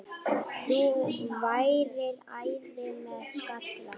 Þú værir æði með skalla!